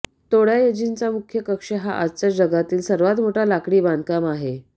तोडायजींचा मुख्य कक्ष हा आजचा जगातील सर्वात मोठा लाकडी बांधकाम आहे